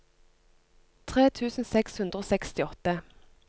tre tusen seks hundre og sekstiåtte